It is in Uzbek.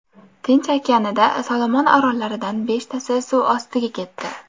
Tinch okeanida Solomon orollaridan beshtasi suv ostiga ketdi.